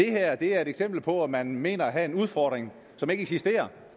er et eksempel på at man mener at have en udfordring som ikke eksisterer